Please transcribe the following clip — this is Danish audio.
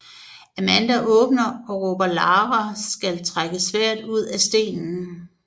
Amanda vågner og råber Lara skal trække sværdet ud af stenen